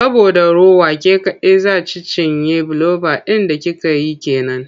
Saboda rowa ke kaɗai za ci cinye fbiloba ɗin da kika yi ke nan.